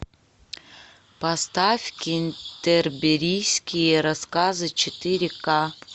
поставь кентерберийские рассказы четыре ка